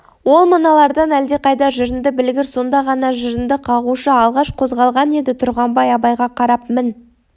ол мыналардан әлдеқайда жырынды білгір сонда ғана жырынды қағушы алғаш қозғалған еді тұрғанбай абайға қарап мін